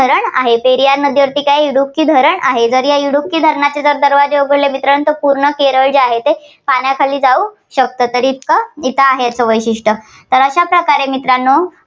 रण आहे. पेरियार नदीवर इडुकी धरण आहे. तर या इडुकी धरणाचे दरवाजे उघडले की पूर्ण केरळ ते पाण्याखाली जाऊ शकते. तर इतकं इथं आहेत वैशिष्ट्यं. तर अशा प्रकारे मित्रांनो